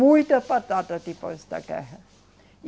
Muita batata depois da guerra.